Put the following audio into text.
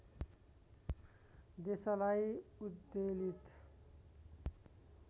देशलाई उद्वेलित